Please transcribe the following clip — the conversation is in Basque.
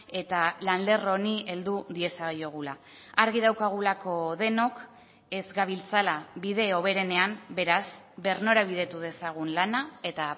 eta lan lerro honi heldu diezaiogula argi daukagulako denok ez gabiltzala bide hoberenean beraz birnorabidetu dezagun lana eta